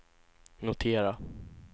notera